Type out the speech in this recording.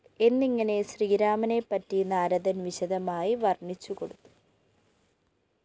എന്നിങ്ങനെ ശ്രീരാമനെപ്പറ്റി നാരദന്‍ വിശദമായി വര്‍ണ്ണിച്ചു കൊടുത്തു